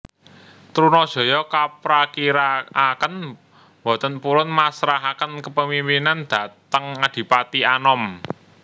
Trunajaya kaprakirakaken boten purun masrahaken kepemimpinan dhateng Adipati Anom